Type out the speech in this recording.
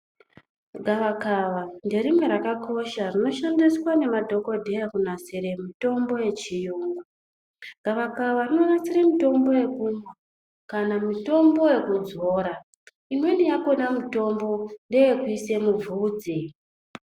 Gavakava ngerimwe rakakosha rinoshandiswa ngemadhokodheya kunasira mitombo yechiyungu, gavakava rinonasira mitombo yekumwa, kana mitombo yekudzora, imweni yakona mitombo ndeyekuise mubvudzi.